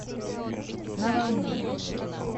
на волне